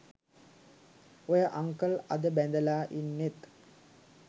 ඔය අන්කල් අද බැඳලා ඉන්නෙත්